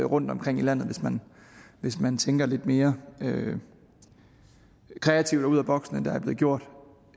rundtomkring i landet hvis man tænker lidt mere kreativt og ud af boksen end der er blevet gjort